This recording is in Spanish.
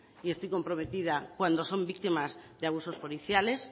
y esto comprometida cuando son víctimas de abusos policiales